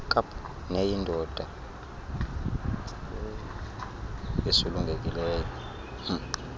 kaap neyingoma esulungekileyo